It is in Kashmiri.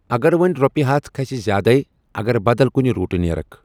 اگر وونۍ رۄپیہِ ہتھ کھژِ زیادے اگر بدل کُنہِ روٹہٕ نیرکھ ۔